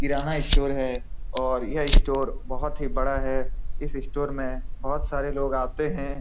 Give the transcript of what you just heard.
किराना store है ये store काफी बड़ा है इस स्टोर में काफी लोग आते हैं।